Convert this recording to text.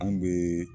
Anw bɛ